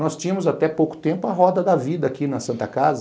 Nós tínhamos até pouco tempo a roda da vida aqui na Santa Casa,